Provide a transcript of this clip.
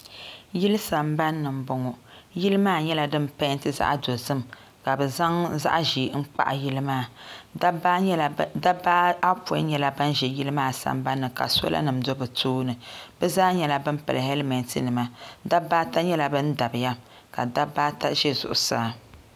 Yili sambani ni m-bɔŋɔ yili maa nyɛla din peenti zaɣ'dozim ka bɛ zaŋ zaɣ'ʒee n-kpahi yili maa dabba ayɔpɔin nyɛla ban ʒe yili maa sambani ni ka solanima do bɛ tooni bɛ zaa nyɛla ban pili helimetinima dabba ata nyɛla ban dabiya ka dabba ata ʒe zuɣusaa.